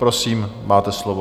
Prosím, máte slovo.